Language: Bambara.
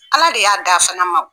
Ala de y'a d'a fana ma o